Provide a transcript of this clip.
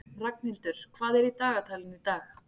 Ragnhildur, hvað er í dagatalinu í dag?